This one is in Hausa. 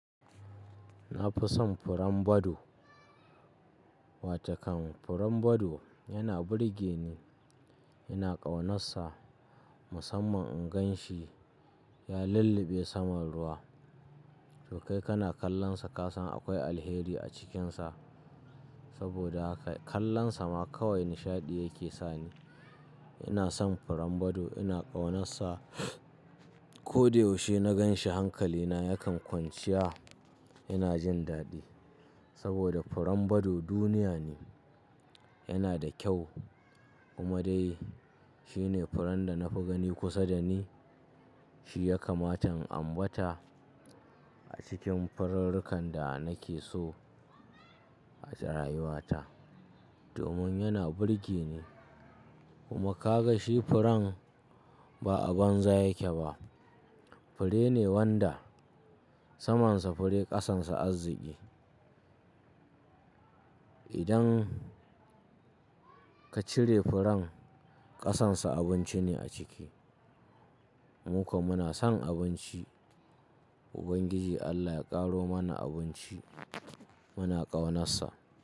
Na fi son furen bado. Watokan furen bado yana burge ni, ina ƙaunassa musamman in gan shi ya lulluɓe saman ruwa. To kai kana kallonsa ka san akwai alheri a cikinsa. Saboda haka kallonsa ma kawai nishaɗi yake sani. Ina son furen bado ina ƙaunarsa. Ko da yaushe na ganshi hankalina yakan kwanciya ina jin daɗi. Saboda furen bado duniya ne, yana da kyau kuma dai shi ne furen da na fi gani kusa da ni. Shi ya kamata in ambata a cikin fururrukan da nake so a rayuwatar domin yana burge ni. Kuma ka ga shi furen ba a banza yake ba. Fure ne wanda samansa fure ƙasansa arziki. Idan ka cire furen ƙasansa abinci ne a ciki. Mukwa muna son abinci. Ubangiji Allah ya ƙaro mana abinci muna ƙaunassa.